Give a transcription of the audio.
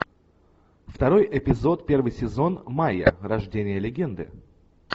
второй эпизод первый сезон майя рождение легенды